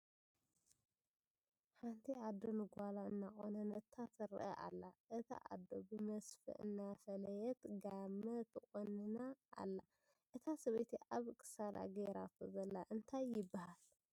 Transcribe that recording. ሓንቲ ኣዶ ንጓላ እናቆነነታ ትርአ ኣላ ። እታ ኣዶ ብመስፈ እናፈለየትጋመ ትቁንና ኣላ ። እታ ሰበይቲ ኣብ ክሳዳ ገይራቶ ዘላ እንታይ ይባሃል?